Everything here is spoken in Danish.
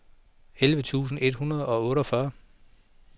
elleve tusind et hundrede og otteogfyrre